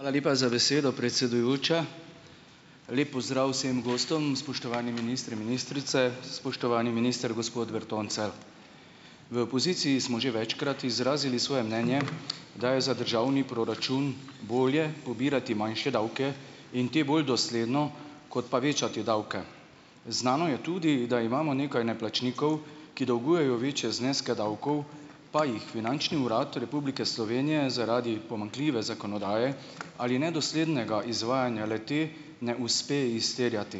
Hvala lepa za besedo, predsedujoča. Lep pozdrav vsem gostom! Spoštovani ministri, ministrice, spoštovani minister, gospod Bertoncelj! V opoziciji smo že večkrat izrazili svoje mnenje, da je za državni proračun bolje pobirati manjše davke in te bolj dosledno, kot pa večati davke. Znano je tudi, da imamo nekaj neplačnikov, ki dolgujejo večje zneske davkov, pa jih Finančni urad Republike Slovenije zaradi pomanjkljive zakonodaje ali nedoslednega izvajanja le-te ne uspe izterjati.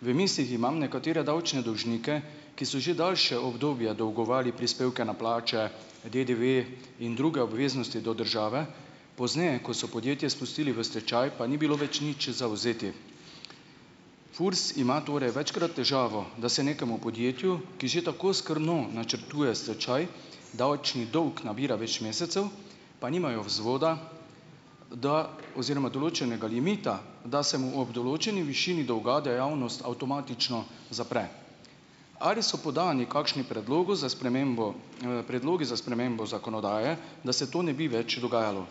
V mislih imam nekatere davčne dolžnike, ki so že daljše obdobje dolgovali prispevke na plače, DDV in druge obveznosti do države, pozneje, ko so podjetje spustili v stečaj, pa ni bilo več nič za vzeti. FURS ima torej večkrat težavo, da se nekemu podjetju, ki že tako skrbno načrtuje stečaj, davčni dolg nabira več mesecev, pa nimajo vzvoda, da oziroma določenega limita, da se mu ob določeni višini dolga dejavnost avtomatično zapre. Ali so podnevi kakšni predlogi za spremembo, predlogi za spremembo zakonodaje, da se to ne bi več dogajalo?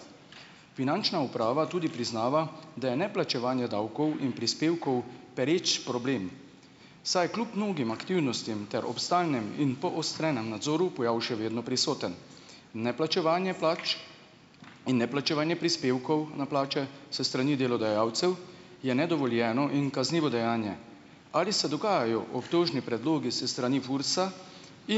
Finančna uprava tudi priznava, da je neplačevanje davkov in prispevkov pereč problem, saj kljub mnogim aktivnostim ter ob stalnem in poostrenem nadzoru pojav še vedno prisoten. Neplačevanje plač in neplačevanje prispevkov na plače s strani delodajalcev je nedovoljeno in kaznivo dejanje. Ali se dogajajo obtožni predlogi s strani FURS-a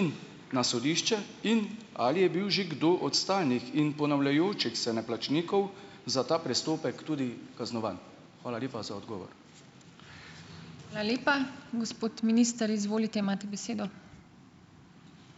in na sodišče in ali je bil že kdo od stalnih in ponavljajočih se neplačnikov za ta prestopek tudi kaznovan? Hvala lepa za odgovor.